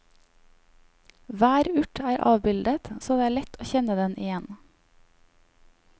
Hver urt er avbildet så det er lett å kjenne den igjen.